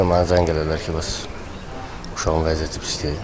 Mənə zəng elədilər ki, bəs uşağın vəziyyəti pisdir.